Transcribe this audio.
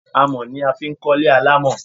Àmọ̀ ni a fi ń kọ́ ilé alámọ̀